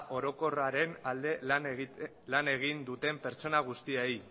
orokorraren alde lan egin duten pertsona guztiei